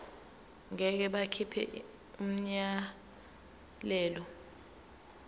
ngeke bakhipha umyalelo